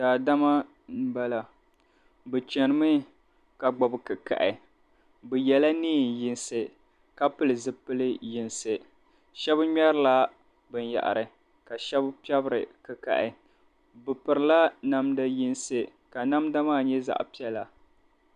Daadama m-bala bɛ chanimi ka gbubi kikahi bɛ yela neenyinsi ka pili zipilyinsi shɛb' ŋmɛrila binyɛhiri ka shɛb' piɛbiri kikahi bɛ pirila namda yinsi ka namda maa nye zaɣ'piɛla.